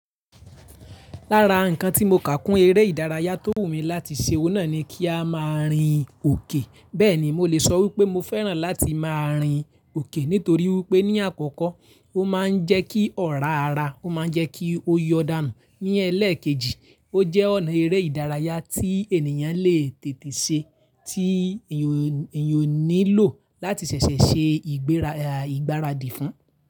Lára ǹkan tí mo kà kún eré ìdárayá tó wù mí láti ṣe, ọ̀hun nàa ni kí a máa rìn òkè. Bẹ́ẹ̀ni, mo lè sọ wípé mo fẹ́ràn láti máa rìn òkè nítorí wípé ní àkọ́kọ́, ó máa ń jẹ́ kí ọ̀rá ara, ó máa ń jẹ́ kí ó yọ̀ dànù. Ní ẹlẹ́ẹ̀kejì, ó jẹ́ ọ̀nà eré ìdárayá tí ènìyàn le tètè ṣe, tí èeyàn ò nílò láti ṣẹ̀ṣẹ̀ ṣe ìgbáradì fún.